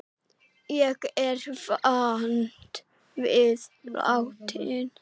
Ég er vant við látinn.